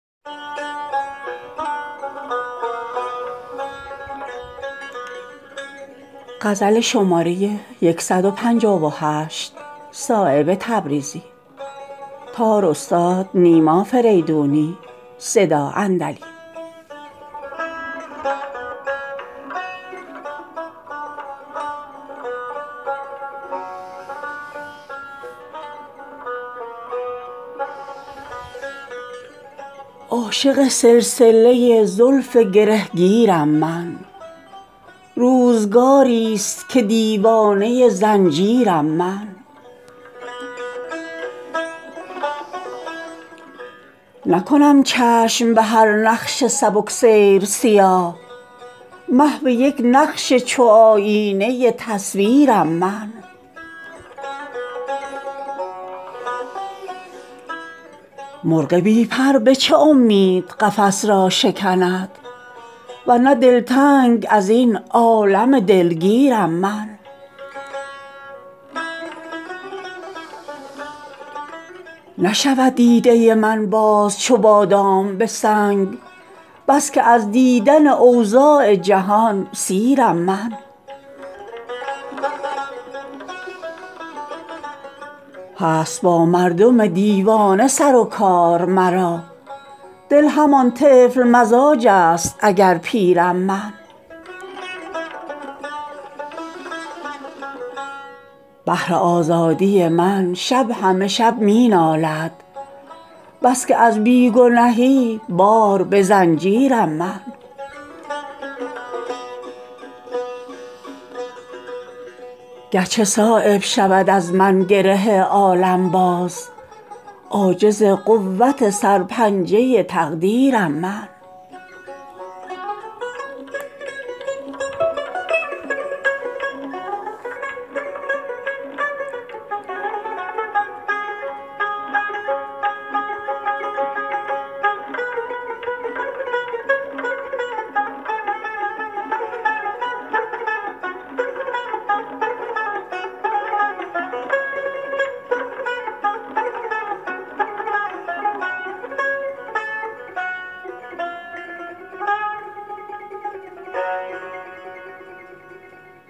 عاشق سلسله زلف گرهگیرم من روزگاری است که دیوانه زنجیرم من نکنم چشم به هر نقش سبکسیر سیاه محو یک نقش چو آیینه تصویرم من مرغ بی پر به چه امید قفس را شکند ورنه دلتنگ ازین عالم دلگیرم من داد آرام در آغوش هدف خواهم داد در کمانخانه افلاک اگر تیرم من نشود دیده من باز چو بادام به سنگ بس که از دیدن اوضاع جهان سیرم من راست گفتاری من رایت اقبال من است همچو صبح از نفس صدق جهانگیرم من در و دیوار شود بال و پر وحشت من نیست از غفلت اگر در پی تعمیرم من هست با مردم دیوانه سر و کار مرا دل همان طفل مزاج است اگر پیرم من بهر آزادی من شب همه شب می نالد بس که از بی گنهی بار به زنجیرم من گرچه صایب شود از من گره عالم باز عاجز قوت سر پنجه تقدیرم من